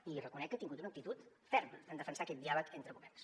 i li reconec que ha tingut una actitud ferma en defensar aquest diàleg entre governs